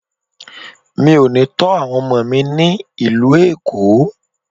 Mi ò ní tó àwọn ọmọ mi ní ìlú Èkó.